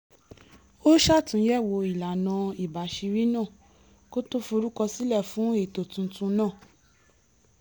ó ṣàtúnyẹ̀wò ìlànà ìbàṣírí náà kó tó forúkọ sílẹ́ fún ètò tuntun náà